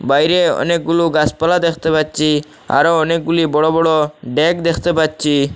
বাইরে অনেকগুলো গাছপালা দেখতে পাচ্ছি আরও অনেকগুলি বড় বড় ড্যাক দেখতে পাচ্ছি।